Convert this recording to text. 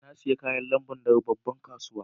Na siya kayan lambun daga babban kasuwan.